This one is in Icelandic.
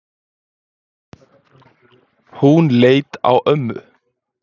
Hún leit á ömmu.